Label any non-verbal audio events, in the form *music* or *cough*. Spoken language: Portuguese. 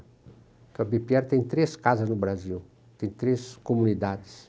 Porque a *unintelligible* tem três casas no Brasil, tem três comunidades.